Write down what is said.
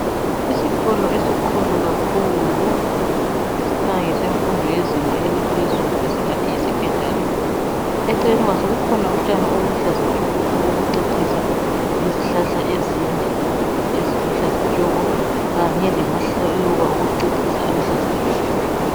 Isikolo esikhulu kakhulu esikhanya ngesemfundo yezinga eliphezulu singathi yi secondary, eceleni kwaso kukhona utshani obuluhlaza tshoko obokucecisa lezihlahla ezinde eziluhlaza tshoko kanye lamaluba okucecisa aluhlaza tshoko.